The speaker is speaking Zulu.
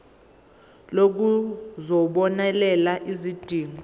lokhu kuzobonelela izidingo